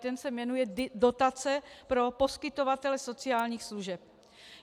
Ten se jmenuje dotace pro poskytovatele sociálních služeb.